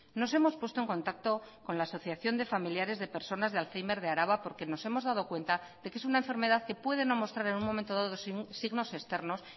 nos hemos puesto en contacto con la asociación de familiares de personas de alzhéimer de araba porque nos hemos dado cuenta de que es una enfermedad que puede no mostrar en un momento dado signos externos